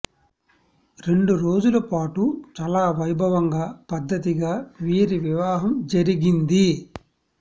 రెండు రోజుల పాటు చాలా వైభవంగా పద్దతిగా వీరి వివాహం జరిగింది